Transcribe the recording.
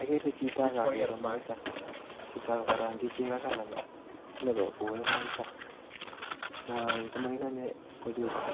Akere chito ak akere moita, chicho ko karang'chi cheko kalanit sinikokue moita, moi ko makikonye kochuchun